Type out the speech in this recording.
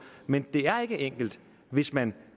men det er ikke enkelt hvis man